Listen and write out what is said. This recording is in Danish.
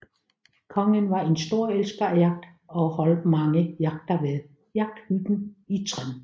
Kongen var en stor elsker af jagt og holdt mange jagter ved jagthytten i Trend